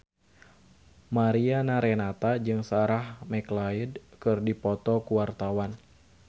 Mariana Renata jeung Sarah McLeod keur dipoto ku wartawan